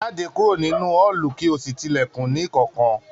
Jáde kúrò nínú ọọlú kí o sí tí ilẹkùn ní kánkán!